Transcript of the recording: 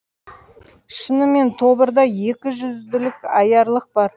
шынымен тобырда екіжүзділік аярлық бар